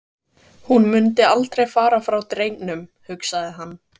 Hún mundi aldrei fara frá drengnum, hugsaði hann.